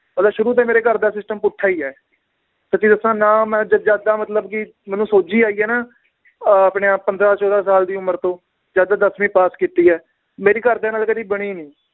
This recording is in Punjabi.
ਮਤਲਬ ਸ਼ੁਰੂ ਤੋਂ ਹੀ ਮੇਰੇ ਘਰ ਦਾ system ਪੁੱਠਾ ਈ ਏ ਸੱਚੀ ਦੱਸਾਂ ਨਾ ਮੈ ਮਤਲਬ ਕਿ ਮੈਨੂੰ ਸੋਝੀ ਆਈ ਏ ਨਾ ਅਹ ਆਪਣੇ ਆਹ ਪੰਦ੍ਰਹ ਚੋਦਾਂ ਸਾਲ ਦੀ ਉਮਰ ਤੋਂ ਜਦ ਦੱਸਵੀ ਪਾਸ ਕੀਤੀ ਏ ਮੇਰੀ ਘਰਦਿਆਂ ਨਾਲ ਕਦੇ ਬਣੀ ਨੀ